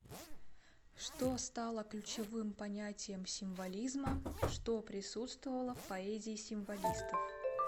что стало ключевым понятием символизма что присутствовало в поэзии символистов